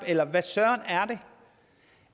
eller hvad søren